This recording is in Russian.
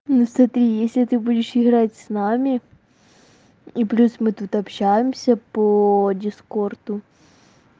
ну смотри если ты будешь играть с нами и плюс мы тут общаемся по дискорду